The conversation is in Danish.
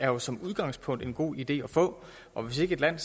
jo som udgangspunkt er en god idé at få og hvis ikke et land